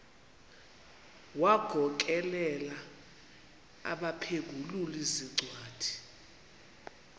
wagokelela abaphengululi zincwadi